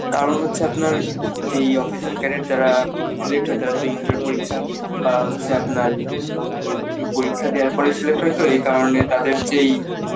তার উপর হচ্ছে আপনার যেই officer cadet যারা selected হয় inter পরীক্ষা পাশ সে আপনার পরীক্ষা দেয়ার পর select হয়তো এই কারণে তাদের যেই